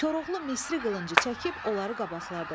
Koroğlu Misri qılıncı çəkib onları qabaqladı.